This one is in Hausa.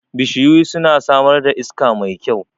Bishiyu suna samar da iska mai kyau